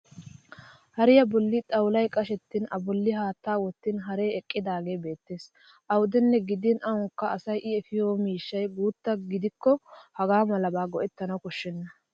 Hariya bolli xawulay qashettin a bolli haattaa wottin haree eqqidaagee beettes. Awudenne gidin awaanikka asay I efiyo miishshay guutta gidikko hagaa malaba go'ettana koshshes.